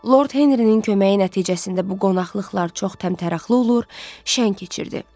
Lord Henrinin köməyi nəticəsində bu qonaqlıqlar çox təmtəraqlı olur, şəng keçirdi.